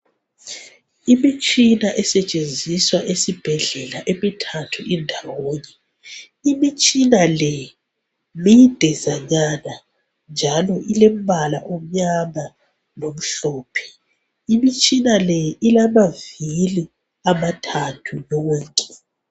Imitshina esetshenziswa esibhedlela emithathu indawonye. Imitshina le midezanyana njalo ilembala omnyama lomhlophe imitshina le ilamavili amathathu